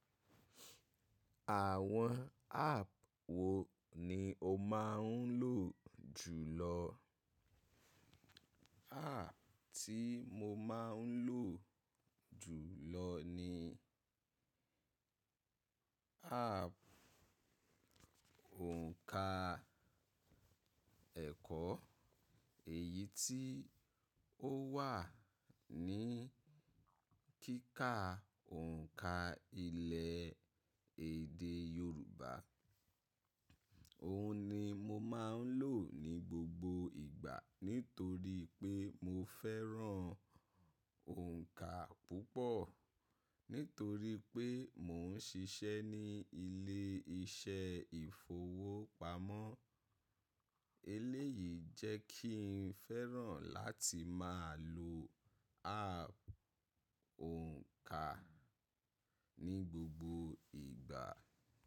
Àwọn app wo ni o máa ń lò jù lọ? App tí mo máa ń lò jù lọ ni app òǹkà ẹ̀kọ́. Èyí tí ó wà ní kíkà òǹkà ilẹ̀ èdè Yorùbá. Òun ni mo máa ń lò ní gbogbo ìgbà nítorí pé mo fẹ́ràn òǹkà púpọ̀. Nítorí pé mò ń ṣiṣẹ́ ní ilé iṣẹ́ ìfowópamọ́. Eléyìí jẹ́ kí n fẹ́ràn láti máa lo app òǹkà ní gbogbo ìgbà.